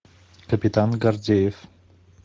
капитан гордеев